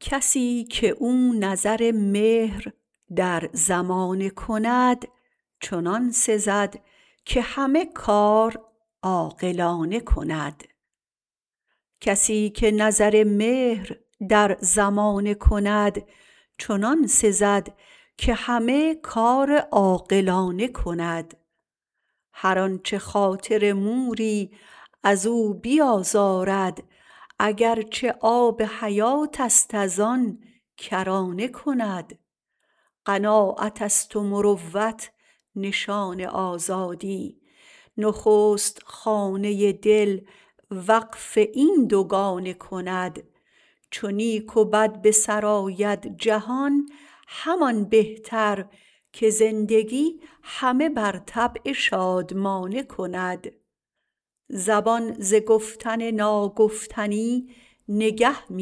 کسی که او نظر مهر در زمانه کند چنان سزد که همه کار عاقلانه کند هر آنچه خاطر موری ازو بیازارد اگرچه آب حیاتست از آن کرانه کند قناعتست و مروت نشان آزادی نخست خانه دل وقف این دوگانه کند چو نیک و بد به سر آید جهان همان بهتر که زندگی همه بر طبع شادمانه کند زبان ز گفتن و ناگفتنی نگه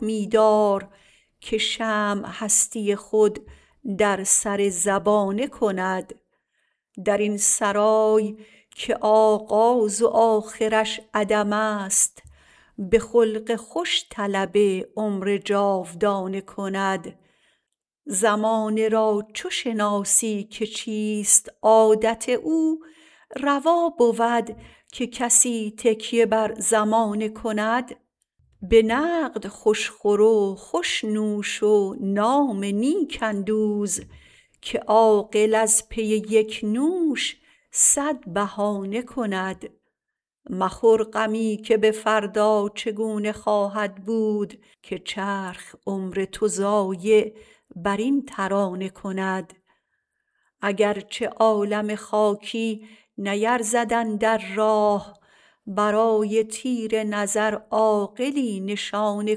می دار که شمع هستی خود در سر زبانه کند درین سرای که اول ز آخرش عدمست به خلق خوش طلب عمر جاودانه کند زمانه را چو شناسی که چیست عادت او روا بود که کسی تکیه بر زمانه کند به نقد خوش خور و خوش نوش و نام نیک اندوز که عاقل از پی یک نوش صد بهانه کند مخور غمی که به فردا چگونه خواهد بود که چرخ عمر تو ضایع برین ترانه کند اگرچه عالم خاکی نیرزد اندر راه برای تیر نظر عاقلی نشانه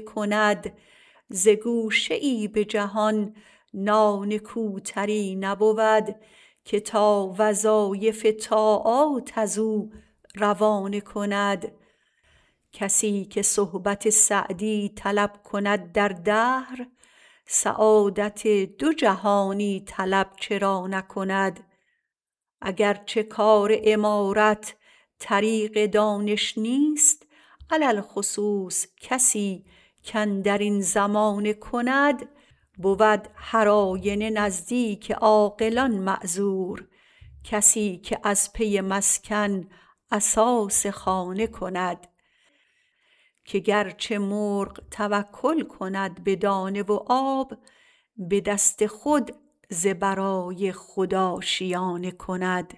کند ز گوشه ای به جهان ناکوتر تر نبود که تا وظایف طاعات ازو دانه کند کسی که صحبت سعدی طلب کند در دهر سعادت دو جهانی طلب چرا نه کند اگرچه کار عمارت طریق دانش نیست علی الخصوص کسی کاندرین زمانه کند بود هر آینه نزدیک عاقلان معذور کسی که از پی مسکن اساس خانه کند که گرچه مرغ توکل کند به دانه و آب به دست خود ز برای خود آشیانه کند